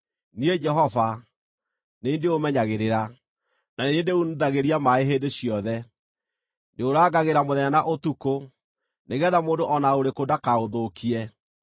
Niĩ Jehova, nĩ niĩ ndĩũmenyagĩrĩra, na nĩ niĩ ndĩunithagĩria maaĩ hĩndĩ ciothe. Ndĩũrangagĩra mũthenya na ũtukũ, nĩgeetha mũndũ o na ũrĩkũ ndakaũthũkie.